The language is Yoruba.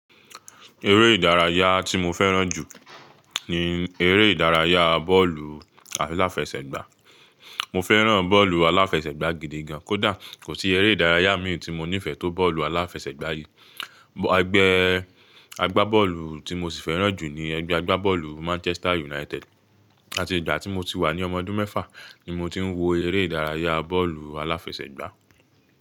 Eré ìdárayá tí mo fẹ́ràn jù ni eré ìdárayá bọ́ọ̀lù aláfẹsẹ̀gbá. Mọ fẹ́ràn bọ́ọ̀lù aláfẹsẹ̀gbá gidi gan. Kódà kò sí eré ìdárayá mi tí mo nífẹ̀ẹ́ tó bọ́ọ̀lù aláfẹsẹ̀gbá yìí. Pgbẹ́ agbá bọ́ọ̀lù tí mo sì fẹ́ràn jù ni ẹgbẹ́ agbá bọ́ọ̀lù Manchester United. Àti ìgbà tí mo ti wà ní ọmọ ọdún mẹ́fà ni mo ti ń wo eré ìdárayá bọ́ọ̀lù aláfẹsẹ̀gbá.